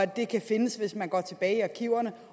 det kan findes hvis man går tilbage i arkiverne